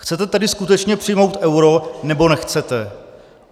Chcete tedy skutečně přijmout euro, nebo nechcete?